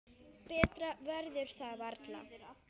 Betra verður það varla.